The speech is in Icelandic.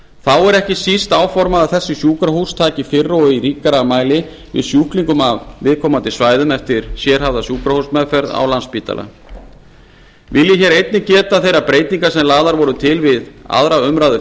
þá er ekki síst áformað að þessi sjúkrahús taki fyrr og í ríkara mæli við sjúklingum af viðkomandi svæðum eftir sérhæfða sjúkrahúsmeðferð á landspítala vil ég hér einnig geta þeirra breytinga sem lagðar voru til við aðra umræðu